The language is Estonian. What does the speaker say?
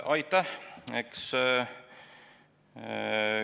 Aitäh!